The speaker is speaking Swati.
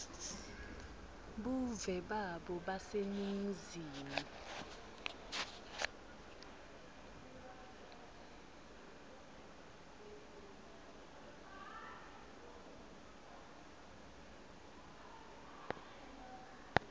buve babo baseningizimu